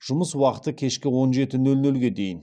жұмыс уақыты кешкі он жеті нөл нөлге дейін